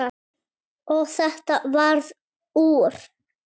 Og þetta varð úr.